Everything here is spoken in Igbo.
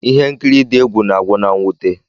Ihe nkiri dị egwu na-agwụ na mwute.